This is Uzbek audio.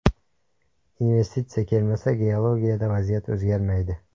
Investitsiya kelmasa, geologiyada vaziyat o‘zgarmaydi.